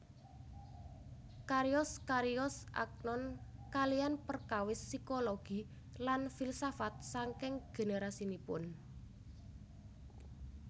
Cariyos cariyos Agnon kaliyan perkawis psikologi lan filsafat saking generasinipun